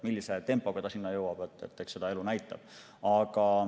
Millise tempoga ta sinna jõuab, eks seda elu näitab.